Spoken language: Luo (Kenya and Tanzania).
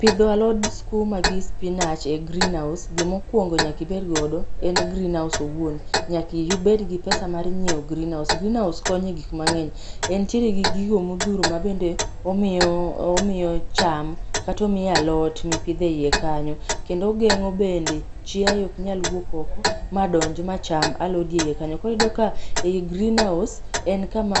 Pidho alod skuma gi spinach e greenhouse, gima okuongo nyaka ibed godo en greenhouse owuon. Nyaka ibed gi pesa mar nyiew greenhouse. Greenhouse konyo e gik mangeny, entiere gi gigo mohuro mabende omiyo, omiyo cham kata omiyo alot mipidho e iye kayno kendo ogengo bende chiaye ok nyal wuok oko madonj macham alodi eiye kanyo. Koro iyudo ka ei greenhouse en kama